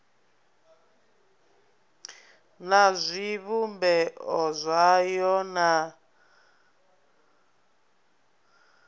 na zwivhumbeo zwayo na u